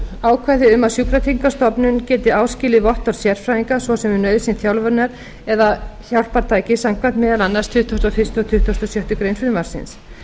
ákvæði um að sjúkratryggingastofnun geti áskilið vottorð sérfræðinga svo sem um nauðsyn þjálfunar eða hjálpartækis samkvæmt meðal annars tuttugasta og fyrsta og tuttugasta og sjöttu greinar frumvarpsins